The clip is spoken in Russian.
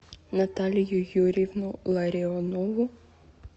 наталью юрьевну ларионову